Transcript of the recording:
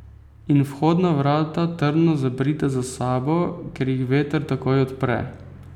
In vhodna vrata trdno zaprite za sabo, ker jih veter takoj odpre.